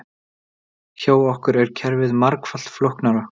Hjá okkur er kerfið margfalt flóknara